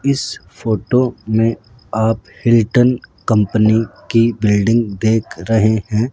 इस फोटो मे आप हिल्टन कंपनी की बिल्डिंग देख रहे है।